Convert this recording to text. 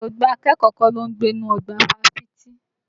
Gbogbo akẹ́kọ̀ọ́ kọ́ ló ń gbé inú ọgbà Fáfitì.